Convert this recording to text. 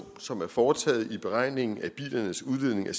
som er foretaget i beregningen af bilernes udledning af